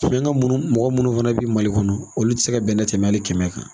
mɔgɔ munnu fana bɛ Mali kɔnɔ olu tɛ se ka bɛnɛ tɛmɛn hali kɛmɛ kan.